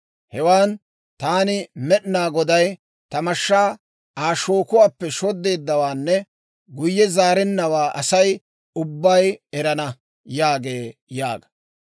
Hewan taani Med'inaa Goday ta mashshaa Aa shookuwaappe shoddeeddawaanne guyye zaarennawaa Asay ubbay erana› yaagee» yaaga.